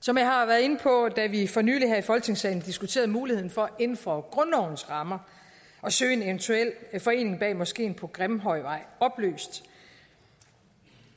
som jeg har været inde på da vi for nylig her i folketingssalen diskuterede muligheden for inden for grundlovens rammer at søge en eventuel forening bag moskeen på grimhøjvej opløst